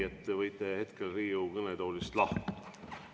Te võite hetkel Riigikogu kõnetoolist lahkuda.